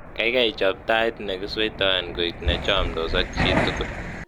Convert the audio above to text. kaigai chob tait negisweitoen koit nechomdos ak jitugul